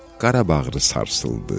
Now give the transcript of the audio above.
Qara bağrı sarsıldı.